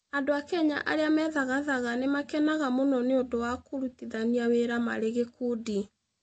Andũ a Kenya arĩa methagathaga nĩ makenaga mũno nĩ ũndũ wa kũrutithania wĩra marĩ gĩkundi.